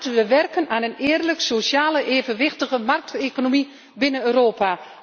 Laten we werken aan een eerlijke, sociale, evenwichtige markteconomie binnen Europa.